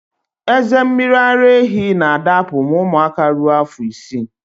Eze mmiri ara ehi na adapụ ma ụmụaka ruo afọ isii